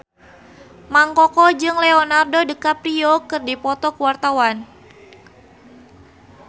Mang Koko jeung Leonardo DiCaprio keur dipoto ku wartawan